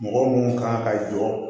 Mɔgɔ minnu kan ka jɔ